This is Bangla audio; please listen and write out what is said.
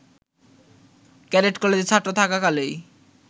ক্যাডেট কলেজে ছাত্র থাকাকালেই